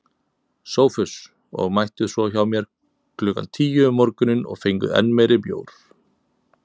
SOPHUS: Og mættuð svo hjá mér klukkan tíu um morguninn og fenguð enn meiri bjór.